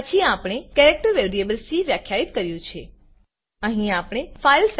પછી આપણે character variable c character variable સીવ્યાખ્યાયિત કર્યું છે